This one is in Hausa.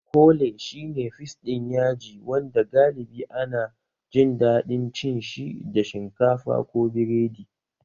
Kole shi ne fis ɗin yaji wanda galibi ana jin daɗin cin shi da shinkafa ko biredi